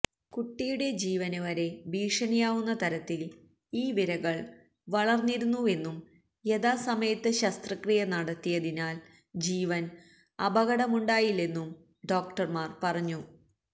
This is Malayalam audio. കുട്ടിയുടെ ജീവന് വരെ ഭീഷണിയാവുന്ന തരത്തില് ഈ വിരകള് വളര്ന്നിരുന്നുവെന്നും യഥാമസമയത്ത് ശസ്ത്രക്രിയ നടത്തിയതിനാല് ജീവന് അപകടമുണ്ടായില്ലെന്നും ഡോക്ടര്മാര് പറഞ്ഞു